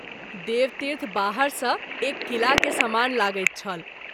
देवतीर्थ बाहर सँ एक किला के समान लगैत छल।